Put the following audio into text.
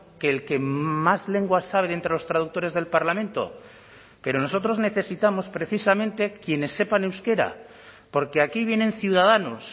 que el que más lenguas sabe de entre los traductores del parlamento pero nosotros necesitamos precisamente quienes sepan euskera porque aquí vienen ciudadanos